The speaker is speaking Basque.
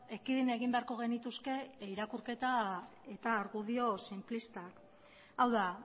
ekidin egin beharko genituzke irakurketa eta argudio sinplista hau da